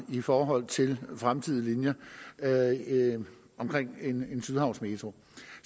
i forhold til fremtidige linjer omkring en sydhavnsmetro